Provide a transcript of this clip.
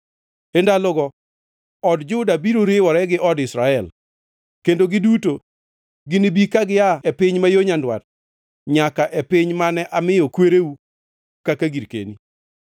E ndalogo od Juda biro riwore gi od Israel, kendo giduto ginibi ka gia e piny ma yo nyandwat nyaka e piny mane amiyo kwereu kaka girkeni.